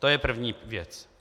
To je první věc.